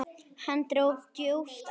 Hann dró djúpt andann.